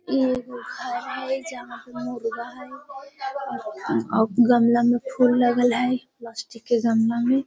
इ एगो घर हेय जहां पर मुर्गा हेय अ गमला में फूल लगल हेय प्लास्टिक के गमला में।